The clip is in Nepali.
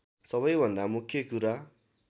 सबैभन्दा मुख्य कुरा